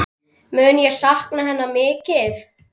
Mun ég sakna hennar mikið.